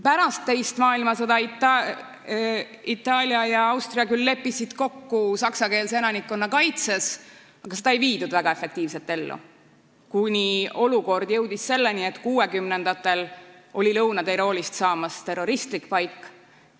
Pärast teist maailmasõda leppisid Itaalia ja Austria küll kokku saksakeelse elanikkonna kaitses, aga seda ei viidud väga efektiivselt ellu, kuni olukord jõudis selleni, et kuuekümnendatel oli Lõuna-Tiroolist saamas terroristlik paik.